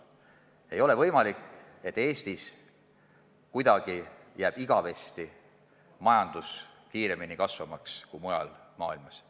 Ei ole võimalik, et Eestis jääb majandus igavesti kuidagi kiiremini kasvavaks kui mujal maailmas.